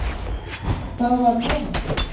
Það var Lena.